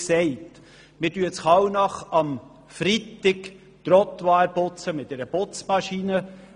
In Kallnach reinigen wir am Freitag die Trottoirs mit einer Putzmaschine.